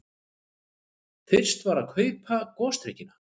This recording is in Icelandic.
Fyrst var að kaupa gosdrykkina.